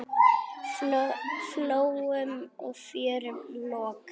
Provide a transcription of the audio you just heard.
Flóum og fjörðum lokað.